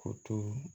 O to